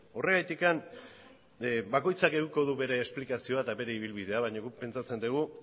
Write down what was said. horregatik bakoitzak edukiko du bere esplikazioa eta bere ibilbidea baina guk pentsatzen dugu